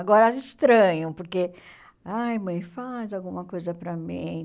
Agora, elas estranham, porque, ai mãe, faz alguma coisa para mim.